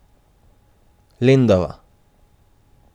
Lendava.